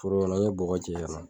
Foro kɔnɔ n ye bɔgɔ cɛ kana